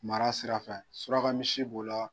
Mara sirafɛ suraka misi b'o la.